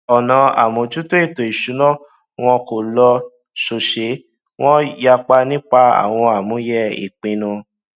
ọnà àmójútó ètò ìsúná wón kò lọ sòòsé wón yapa nípa àwọn àmúyẹ ìpínnu